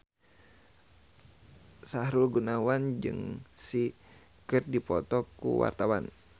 Sahrul Gunawan jeung Psy keur dipoto ku wartawan